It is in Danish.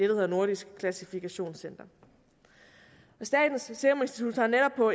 hedder nordisk klassifikationscenter statens serum institut har netop på